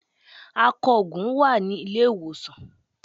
Akògùn wà ní Ilé-ìwòsàn